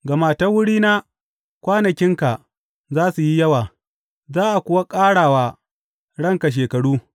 Gama ta wurina kwanakinka za su yi yawa, za a kuwa ƙara wa ranka shekaru.